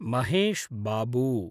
Mahesh Babu